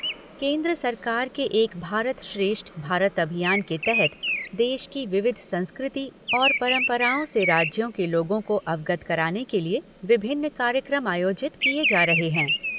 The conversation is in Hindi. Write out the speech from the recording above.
केन्द्र सरकार के एक भारत श्रेष्ठ भारत अभियान के तहत देश की विविध संस्कृति और परम्पराओं से राज्यों के लोगों को अवगत कराने के लिए विभिन्न कार्यक्रम आयोजित किए जा रहे हैं।